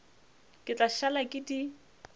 ke tla šala ke di